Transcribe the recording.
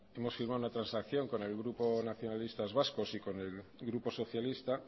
hemos firmado una transacción con el grupo nacionalistas vascos y con el grupo socialista